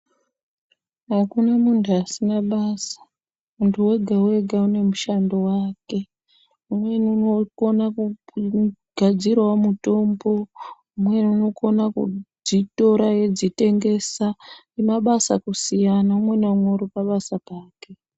Hakuna muntu asina basa. Muntu wega wega une mushando wake. Umweni unokonawo kugadzira mutombo. Umweni unokonawo kudzitora eidzitengesa, mabasa kusiyana. Umwe naumwe uri pabasa pake.